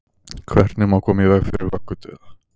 hvernig má koma í veg fyrir vöggudauða